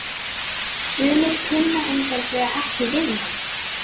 Sumir kunna einfaldlega ekki við mann.